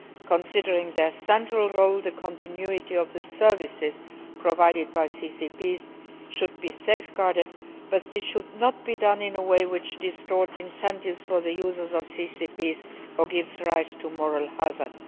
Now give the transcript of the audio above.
In view of their central role, the continuity of the services provided by CCPs should be safeguarded but this should not be done in a way which distorts incentives for the users of CCPs or gives rise to moral hazards.